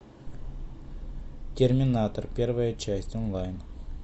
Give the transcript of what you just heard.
терминатор первая часть онлайн